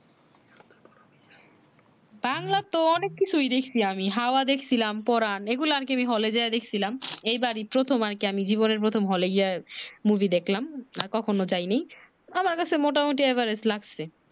বাংলা তো অনেক কিছুই দেখছি আমি হাওয়া দেখছিলাম পরান এগুলা আর কি হলে যাইয়া দেখছিলাম এই বারি প্রথম আর কি জীবনে প্রথমে হলে গিয়া মুভি দেখলাম না কখন যাই নাই আমর কাছে মোটা মুটি average লাগছে